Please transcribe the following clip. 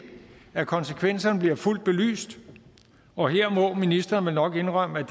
at konsekvenserne bliver fuldt belyst og her må ministeren vel nok indrømme at